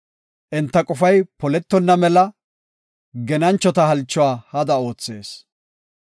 Enta qofay poletonna mela, genanchota halchuwa hada oothees.